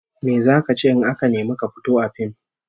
Me zaka ce in aka nemi ka fito a fim?